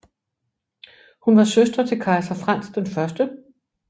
Hun var søster til kejser Frans 1